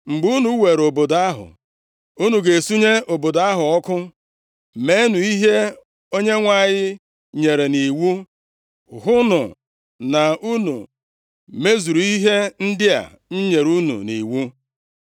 Mgbe unu weere obodo ahụ, unu ga-esunye obodo ahụ ọkụ. Meenụ ihe Onyenwe anyị nyere nʼiwu. Hụnụ na unu mezuru ihe ndị a m nyere unu nʼiwu.”